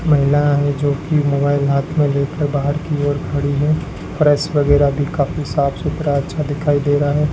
महिला है जोकि मोबाइल हाथ में लेकर बाहर की ओर खड़ी है फर्श वगैरा भी काफी साफ सुथरा अच्छा दिखाई दे रहा है।